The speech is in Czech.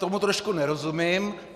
Tomu trošku nerozumím.